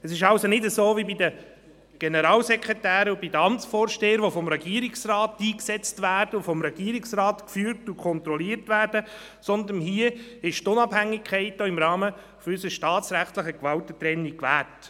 Es ist also nicht wie bei den Generalsekretären und den Amtsvorstehern, die vom Regierungsrat eingesetzt, geführt und kontrolliert werden, sondern hier ist die Unabhängigkeit auch im Rahmen unserer staatsrechtlichen Gewaltentrennung gewährt.